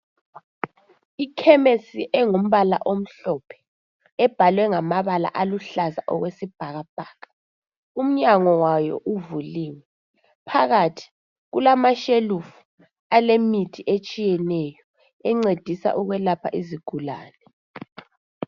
Ikhemisi engumbala omhlophe ebhalwe ngamabala aluhlaza okwesibhakabhaka umnyango wayo uvuliwe phakathi kulamashelufu alemithi etshiyeneyo encedisa ukwelapha izigulane.